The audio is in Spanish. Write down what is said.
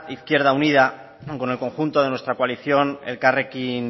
izquierda unida con el conjunto de nuestra coalición elkarrekin